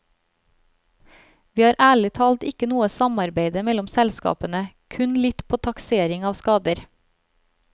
Vi har ærlig talt ikke noe samarbeide mellom selskapene, kun litt på taksering av skader.